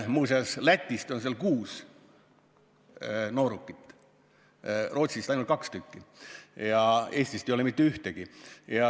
Sellele on alla kirjutanud Lätist kuus noorukit, Rootsist ainult kaks, Eestist ei ole mitte ühtegi.